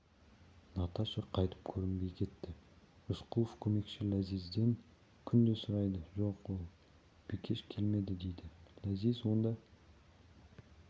наташа қайтып көрінбей кетті рысқұлов көмекші ләзизден күнде сұрайды жоқ ол бикеш келмеді дейді ләзиз онда